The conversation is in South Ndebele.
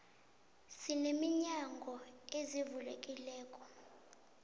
sine minyango ezivulekelako